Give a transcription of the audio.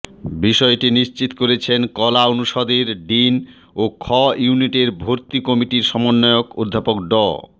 বিষয়টি নিশ্চিত করেছেন কলা অনুষদের ডিন ও খ ইউনিটের ভর্তি কমিটির সমন্বয়ক অধ্যাপক ড